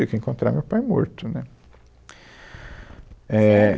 Achei que eu ia encontrar o meu pai morto, né? éh